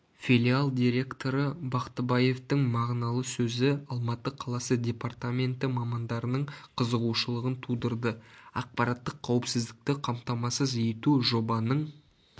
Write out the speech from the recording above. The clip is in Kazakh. филиал директоры бақтыбаевтың мағыналы сөзі алматы қаласы департаменті мамандарының қызығушылығын тудырды ақпараттық қауіпсіздікті қамтамасыз ету жобаның